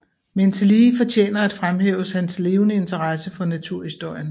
Men tillige fortjener at fremhæves hans levende interesse for naturhistorien